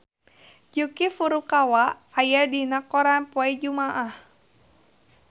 Yuki Furukawa aya dina koran poe Jumaah